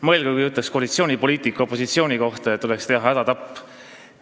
Mõelge, kui koalitsioonipoliitik ütleks opositsiooni kohta, et tuleks teha hädatapp!